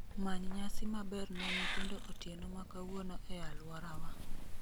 Many nyasi maber ne nyithindo otieno ma kawuono e alworawa